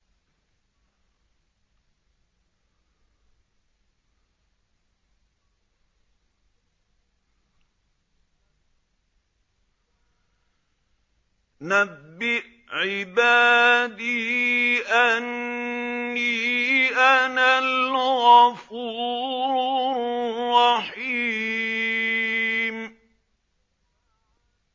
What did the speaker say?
۞ نَبِّئْ عِبَادِي أَنِّي أَنَا الْغَفُورُ الرَّحِيمُ